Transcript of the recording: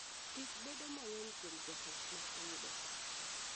Tich bedo mang'eny kuom joot ma oyudo thoo.